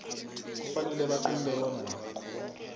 kufanele baqunte bona